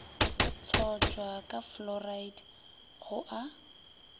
tlotšwa ka fluoride go a